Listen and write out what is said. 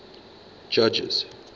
judges